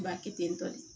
Ba kɛ ten tɔ de